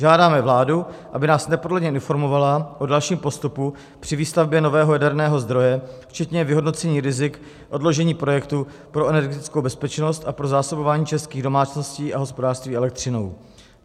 Žádáme vládu, aby nás neprodleně informovala o dalším postupu při výstavbě nového jaderného zdroje včetně vyhodnocení rizik odložení projektu pro energetickou bezpečnost a pro zásobování českých domácností a hospodářství elektřinou.